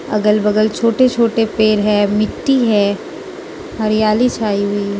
अगल बगल छोटे छोटे पेर है मिट्टी है हरियाली छाई हुई है।